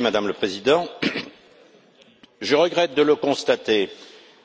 Madame la Présidente, je regrette de le constater,